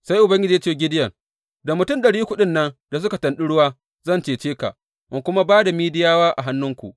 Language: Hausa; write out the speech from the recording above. Sai Ubangiji ya ce wa Gideyon, Da mutum ɗari uku ɗin nan da suka tanɗi ruwa, zan cece ka in kuma ba da Midiyawa a hannuwanku.